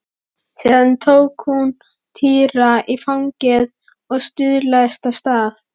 Síðan tók hún Týra í fangið og staulaðist af stað.